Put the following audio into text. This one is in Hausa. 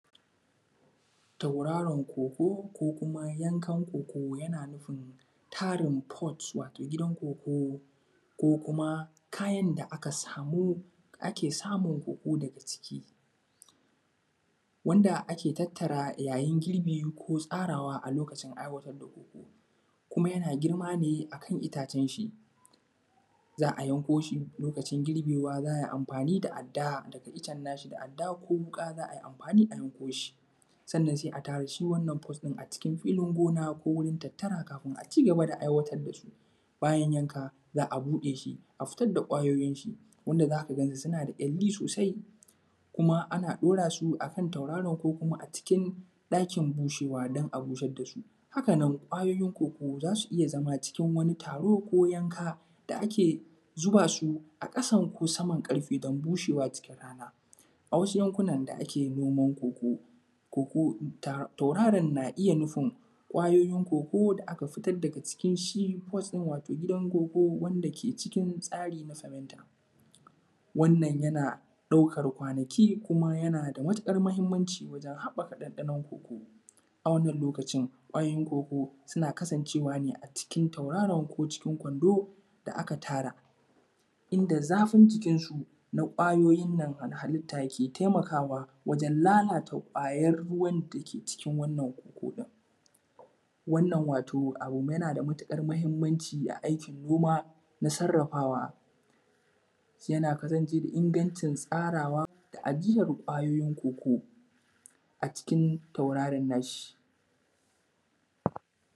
Tauraron koko ko kuma yankan koko yana nufin tarin foch wato gidan koko ko kuma kayan da aka samu ake samun koko daga ciki, wanda ake tattara yayin girbi ko tsarawa a lokacin da ake aiwatar da koko, kuma yana germa ne akan itacen shi za a yanko shi lokacin girbewa za ai amfani da adda a daka iccen nashi da adda ko wuka. Za ai amfani a yan koshi sanann sai a tara shi wanannan foch ɗin a cikin filin gona ko wurin tattara kafun a cigaba da aiwatar da su. Bayan yanka za a buɗe shi a fitar da kwayoyin shi wanda za ka gani suna da kyalli sosai kuma ana ɗaura su akan tauraro ko kuma a cikin ɗakin bushewa dan a busar da su. Haka nan kwayoyin koko za su iya zama cikin wani taro ko yanka da ake zuba su a ƙasan ko saman ƙarfe dan bushewa cikin rana, a wasu yankunan da ake noman koko tauraron na iya nufin kwayoyin koko da aka fitar daga cikin shi foch ɗin waton gidan koko wanda ke cikin tsari na famenta. Wanann yana ɗaukar kwanaki kuma yana da maƙukar mahimmanci wajen haɓaka ɗanɗanon koko, a wannan lokacin kwayoyin koko suna kasancewa ne a cikin tauraron ko cikin kwando da aka tara in da zafin jikinsu na kwayoyin nan halitta ke taimakawa wajen lalata kwayan ruwan da ke cikin wannan koko ɗin wannan wato abu yana da matuƙar mahimmanci a aikin noma na sarrafawa yanayi farinjini ingancin tsarawa da ajiyan kwayoyin koko a cikin tauraran nashi.